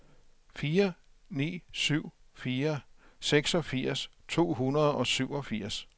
fire ni syv fire seksogfirs to hundrede og syvogfirs